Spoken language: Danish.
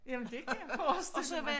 Jamen det kan jeg forestille mig